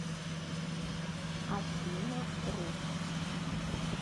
афина рут